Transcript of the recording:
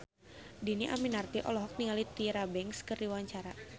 Dhini Aminarti olohok ningali Tyra Banks keur diwawancara